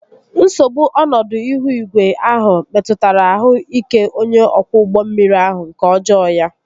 Nsogbu ọnọdụ ihu igwe ahụ metụtara ahụ ike onye ọkwọ ụgbọ mmiri ahụ nke ọjọọ ya